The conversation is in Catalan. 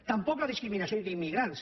tampoc la discriminació d’immigrants